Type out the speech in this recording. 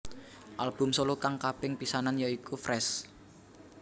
Album solo kang kaping pisanan ya iku Fresh